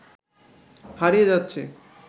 হারিয়ে যাচ্ছে